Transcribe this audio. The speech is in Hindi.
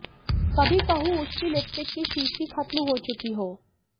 कभी कहूं उसकी लिपस्टिक की शीशी खत्म हो चुकी हो